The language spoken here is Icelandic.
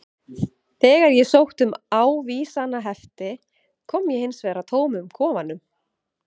Þegar ég sótti um ávísanahefti kom ég hins vegar að tómum kofanum.